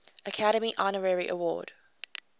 academy honorary award